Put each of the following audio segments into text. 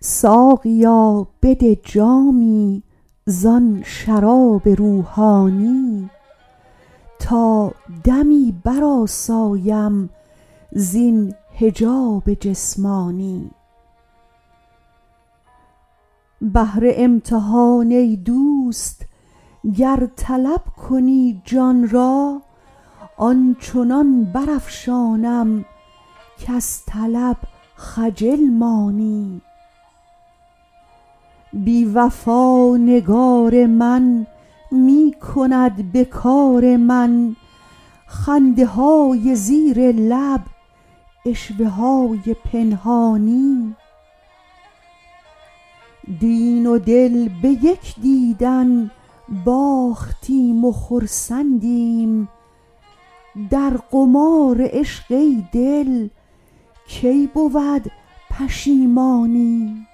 ساقیا بده جامی زآن شراب روحانی تا دمی برآسایم زین حجاب جسمانی بهر امتحان ای دوست گر طلب کنی جان را آن چنان برافشانم کز طلب خجل مانی بی وفا نگار من می کند به کار من خنده های زیر لب عشوه های پنهانی دین و دل به یک دیدن باختیم و خرسندیم در قمار عشق ای دل کی بود پشیمانی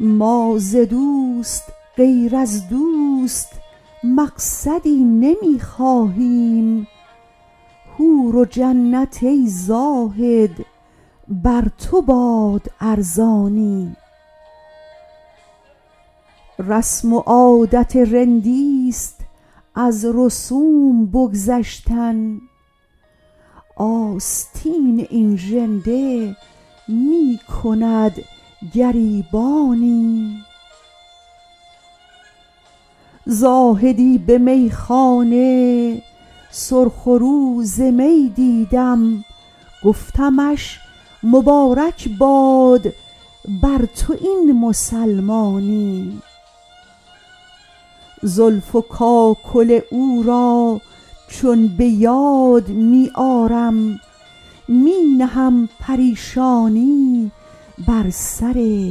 ما ز دوست غیر از دوست مقصدی نمی خواهیم حور و جنت ای زاهد بر تو باد ارزانی رسم و عادت رندی ست از رسوم بگذشتن آستین این ژنده می کند گریبانی زاهدی به میخانه سرخ رو ز می دیدم گفتمش مبارک باد بر تو این مسلمانی زلف و کاکل او را چون به یاد می آرم می نهم پریشانی بر سر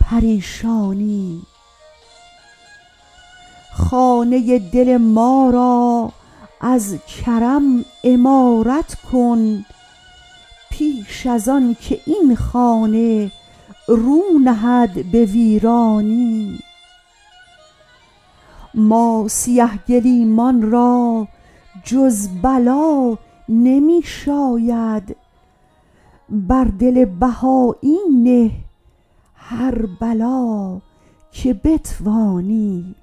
پریشانی خانه دل ما را از کرم عمارت کن پیش از آن که این خانه رو نهد به ویرانی ما سیه گلیمان را جز بلا نمی شاید بر دل بهایی نه هر بلا که بتوانی